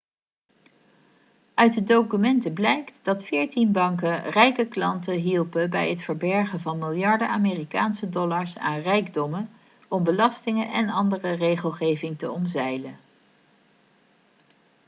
uit de documenten blijkt dat veertien banken rijke klanten hielpen bij het verbergen van miljarden amerikaanse dollars aan rijkdommen om belastingen en andere regelgeving te omzeilen